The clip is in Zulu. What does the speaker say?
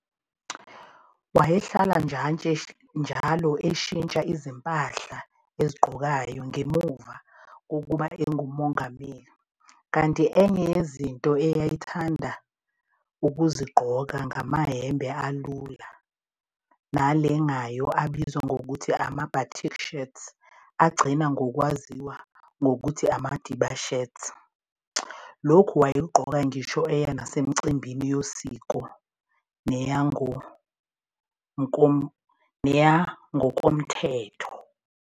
Wayehlala njalo eshintsha izimpahla ezigqokayo, ngemuva kokuba ebengumongameli, kanti enye yezinto ayethanda ukuzigqoka ngamayembe alula nalengayo abizwa ngokuthi ama-Batik shirts, agcina ngokwaziwa ngokuthi ama-"Madiba shirts", lokhu wayekugqoka ngisho eya nasemicimbini yosiko neyangokomthetho.